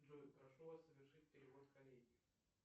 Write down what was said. джой прошу вас совершить перевод коллеге